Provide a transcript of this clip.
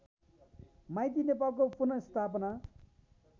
माइती नेपालको पुनःस्थापना